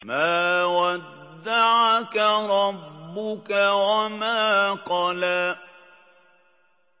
مَا وَدَّعَكَ رَبُّكَ وَمَا قَلَىٰ